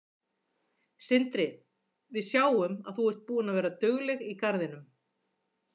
Sindri: Við sjáum að þú er búin að vera dugleg í garðinum?